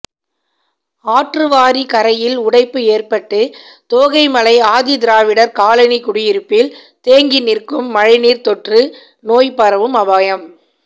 ஆற்றுவாரி கரையில் உடைப்பு ஏற்பட்டு தோகைமலை ஆதிதிராவிடர் காலனி குடியிருப்பில் தேங்கி நிற்கும் மழைநீர் தொற்று நோய் பரவும் அபாயம்